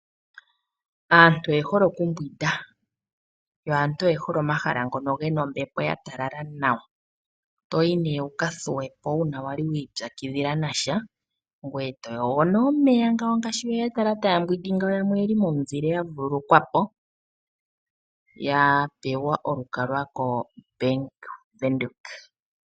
Aantu oye hole okumbwinda. Yo aantu oye hole omahala ngono gena ombepo ya talala nawa. To yi nee wuka thuwepo uuna wa li wa ipyakidhila nasha, ngoye to yogo nee omeya ngaashi weya tala taya mbwindi ngawo. Yamwe oyeli momuzileya vululukwapo, ya pewa olukalwa koBank Windhoek.